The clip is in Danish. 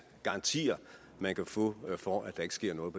garantier man kan få for at der ikke sker noget